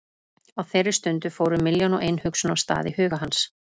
Á þeirri stundu fóru milljón og ein hugsun af stað í huga hans.